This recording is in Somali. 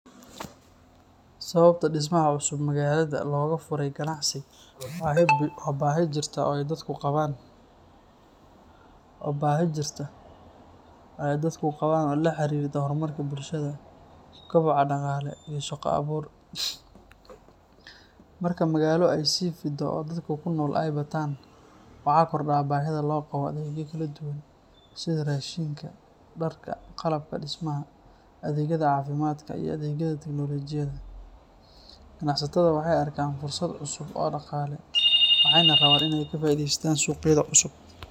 Sababta dhismaha cusub magaalada looga furo ganacsi waa baahi jirta oo ay dadku qabaan oo la xiriirta horumarka bulshada, koboca dhaqaale, iyo shaqo abuur. Marka magaalo ay sii fido oo dadka ku nool ay bataan, waxa kordha baahida loo qabo adeegyo kala duwan sida raashinka, dharka, qalabka dhismaha, adeegyada caafimaadka, iyo adeegyada tiknoolajiyadda. Ganacsatada waxay arkaan fursado cusub oo dhaqaale, waxayna rabaan inay ka faa’iidaystaan suuqyada cusub.